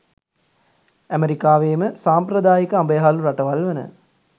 ඇමෙරිකාවේම සම්ප්‍රදායික අඹ යහළු රටවල් වන